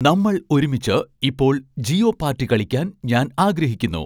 നമ്മൾ ഒരുമിച്ച് ഇപ്പോൾ ജിയോപാർടി കളിക്കാൻ ഞാൻ ആഗ്രഹിക്കുന്നു